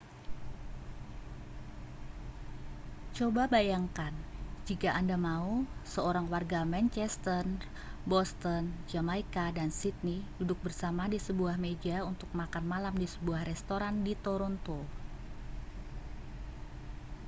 coba bayangkan jika anda mau seorang warga manchester boston jamaika dan sidney duduk bersama di sebuah meja untuk makan malam di sebuah restoran di toronto